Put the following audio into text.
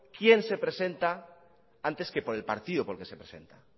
quien se presenta antes que por el partido por el que se presenta